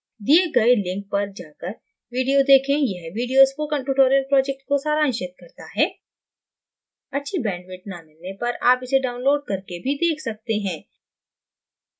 दिए गए link पर जाकर video देखें यह video spoken tutorial project को सारांशित करता है अच्छी bandwidth न मिलने पर आप इसे download करके भी देख सकते हैं